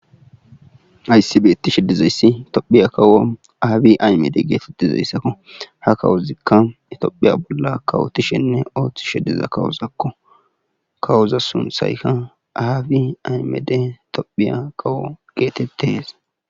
Hays betishe dizaysi tophiya kawo abiy ahmede getetizaysako.